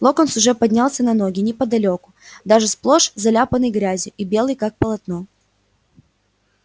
локонс уже поднялся на ноги неподалёку даже сплошь заляпанный грязью и белый как полотно